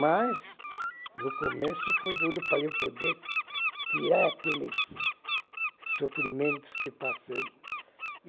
Mas no começo foi duro para eu poder tirar aqueles sofrimentos que passei.